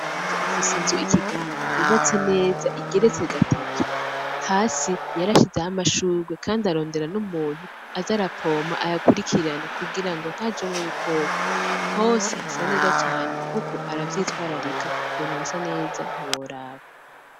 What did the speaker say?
Wanje afise inzu Ikiganda yubatse neza igeretse gatatu hasi yarashizeho amashurwe kandi ararondera n'umuntu aza arapompa ayakurikirana kugira hajemwo ubukoko hose hasa neza cane kuko aravyitwararika, Ukuntu hasa neza ntiworaba.